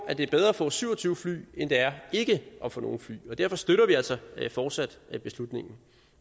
at det er bedre at få syv og tyve fly end det er ikke at få nogen fly og derfor støtter vi altså fortsat beslutningen